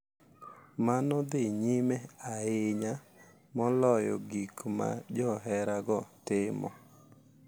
Mano dhi nyime ahinya moloyo gik ma joherago timo.